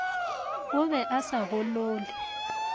o be a sa golole